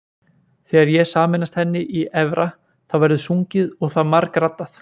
Þegar ég sameinast henni í efra þá verður sungið og það margraddað.